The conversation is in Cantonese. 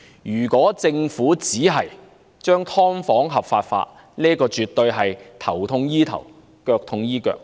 如果政府只是將"劏房"合法化，這絕對是"頭痛醫頭，腳痛醫腳"的做法。